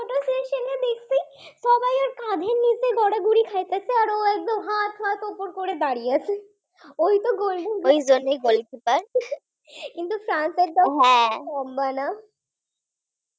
দাঁড়িয়ে আছে, ওই তো Golden gloves, কিন্তু ফ্রান্সের লম্বা না